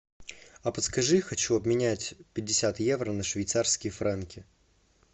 а подскажи хочу обменять пятьдесят евро на швейцарские франки